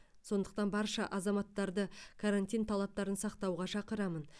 сондықтан барша азаматтарды карантин талаптарын сақтауға шақырамын